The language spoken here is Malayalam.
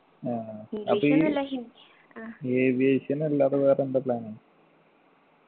ആ അപ്പൊ ഈ aviation അല്ലാതെ വേറെ എന്താ plan